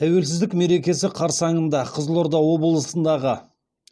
тәуелсіздік мерекесі қарсаңында қызылорда облысындағы